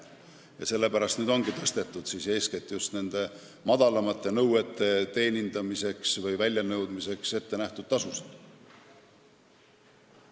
Just sellepärast ongi tõstetud eeskätt just väiksemate nõuete väljanõudmise puhul kehtivaid määrasid.